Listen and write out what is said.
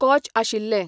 कॉच आशिल्ले